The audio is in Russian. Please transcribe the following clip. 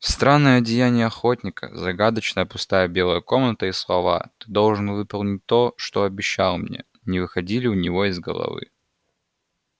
странное одеяние охотника загадочная пустая белая комната и слова ты должен выполнить то что обещал мне не выходили у него из головы